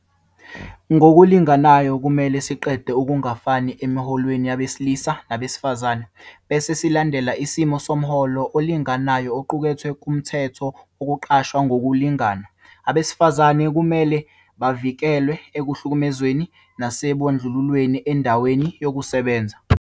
Ngokulinganayo, kumele siqede ukungafani emiholweni yabesilisa nabesifazane, bese silandela isimiso somholo olinganayo oqukethwe kuMthetho Wokuqashwa Ngokulingana. Abesifazane kumele bavikelwe ekuhlukumezweni nasekubandlululweni endaweni yokusebenza.